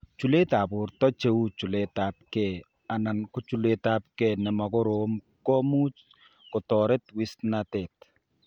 Chuletab borto, che u chuletab gee anan ko chuletab gee ne mo korom ko much kotoret wisnatet.